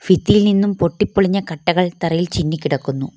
ഇതിൽ നിന്നും പൊട്ടിപ്പൊളിഞ്ഞ കട്ടകൾ തറയിൽ ചിന്നി കിടക്കുന്നു.